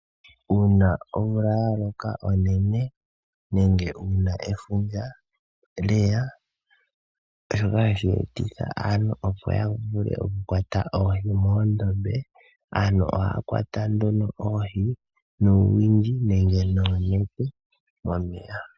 Uuna omvula yaloka unene, nenge efundja lyeya, shoka hashi etitha aantu opo yavule okukwata oohi moondombe. Aantu ohaya kwata nduno oohii noonete momeya.